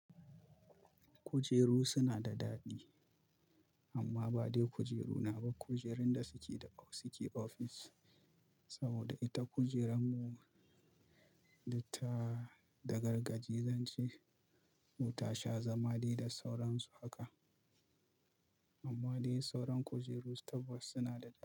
Kujeru suna da daɗi amma ba dai kujeru na ba. Kujerun da suke da suke ofis saboda ita kujeran mu duk ta da gargaje zance. Ko tasha zamade da sauransu haka. Amma dai sauran kujeru tabbas suna da.